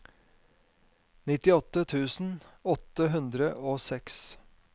nittiåtte tusen åtte hundre og seks